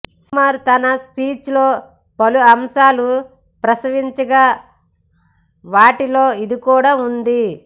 సుకుమార్ తన స్పీచ్ లో పలు అంశాలు ప్రస్తావించగా వాటిలో ఇది కూడా ఉంది